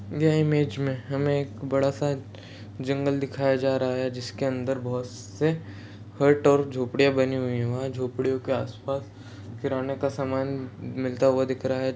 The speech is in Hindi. यह इमेज हमे एक बड़ा सा जंगल दिखाया जा रहा हैं जिसके अंदर बहुत से हर्ट और झोंपड़े बने हुई हैं वहाँ झोपड़ियों के आस पास किराने के सामान मिलता हुआ दिख रहा हैं।